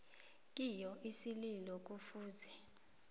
kiyo isililo kufuze